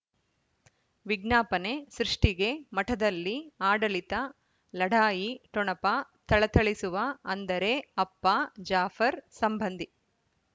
ವಿಜ್ಞಾಪನೆ ಸೃಷ್ಟಿಗೆ ಮಠದಲ್ಲಿ ಆಡಳಿತ ಲಢಾಯಿ ಠೊಣಪ ಥಳಥಳಿಸುವ ಅಂದರೆ ಅಪ್ಪ ಜಾಫರ್ ಸಂಬಂಧಿ